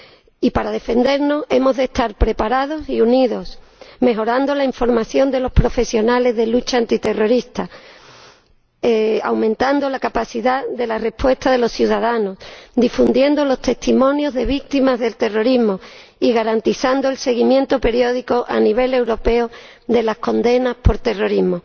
Y, para defendernos, hemos de estar preparados y unidos, mejorando la información de los profesionales de la lucha antiterrorista, aumentando la capacidad de respuesta de los ciudadanos, difundiendo los testimonios de víctimas del terrorismo y garantizando el seguimiento periódico, a nivel europeo, de las condenas por terrorismo.